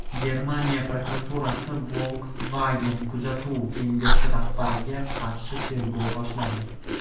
Germaniya prokuraturasi Volkswagen kuzatuv kengashi rahbariga qarshi tergov boshladi.